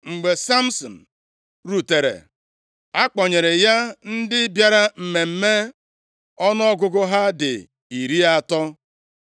Mgbe Samsin rutere, a kpọnyere ya ndị bịara mmemme ọnụọgụgụ ha dị iri atọ.